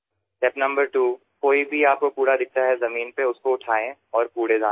পৰ্যায় ২ মাটিত পৰি থকা যিকোনো আৱৰ্জনা দেখিলে সেয়া মাটিৰ পৰা উঠাই জাৱৰৰ পাত্ৰত নিক্ষেপ কৰক